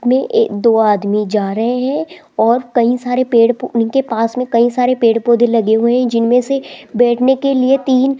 में ए दो आदमी जा रहे हैं और कई सारे पेड़ उनके पास में कई सारे पेड़ पौधे लगे हुए हैं जिनमें से बैठने के लिए तीन --